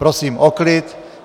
Prosím o klid.